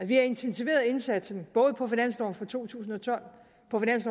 vi har intensiveret indsatsen både på finansloven for to tusind og tolv